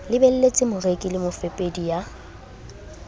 lebelletse moreki le mofepedi ya